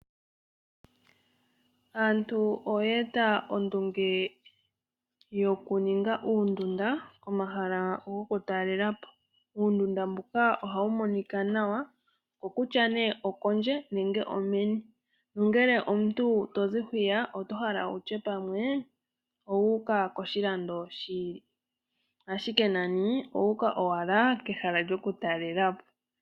Aantu oya eta ondunge yoku ninga uundunda komahala goku talelepo. Uundunda mbuka ohawu monika nawa, okutya nee okondje nenge omeni. Nongele omuntu to zi hwiya, oto hala wushe pamwe owu uka koshilando shi ili, ashike nani owa uka owala kehala lyoku talelapo